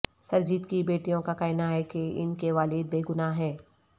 سرجیت کی بیٹیوں کا کہنا ہے کہ ان کے والد بے گناہ ہیں